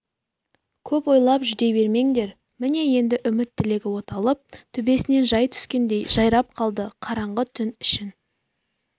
көп ойлап жүдей бермеңдер міне енді үміт-тілегі оталып төбесінен жай түскендей жайрап қалды қараңғы түн ішін